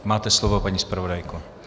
Máte slovo, paní zpravodajko.